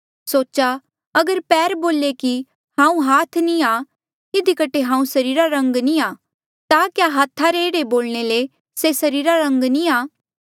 सोचा अगर पैर बोले कि हांऊँ हाथ नी आ इधी कठे हांऊँ सरीरा रा अंग नी आ ता क्या हाथ रा एह्ड़ा बोलणे ले से सरीरा रा अंग नी आ